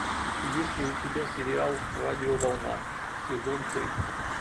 есть ли у тебя сериал радиоволна сезон три